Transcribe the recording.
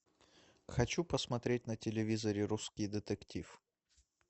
хочу посмотреть на телевизоре русский детектив